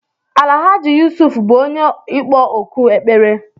Alahaji Yusuf bú onye ịkpọ òkù ekpere